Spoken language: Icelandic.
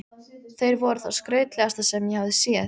Þeir voru það skrautlegasta sem ég hafði séð.